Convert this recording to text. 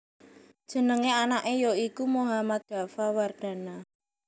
Jenengé anaké ya iku Mohammad Daffa Wardana